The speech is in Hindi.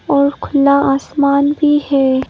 और खुला आसमान भी है।